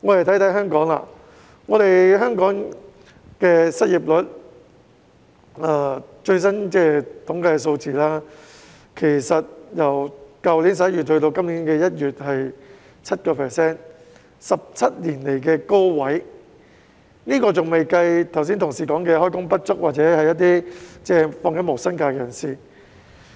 反觀香港，根據最新的統計數字，去年11月至今年1月的失業率是 7%， 是17年來的高位，但正如同事剛才提到，這仍未計算開工不足或正在放取無薪假的人。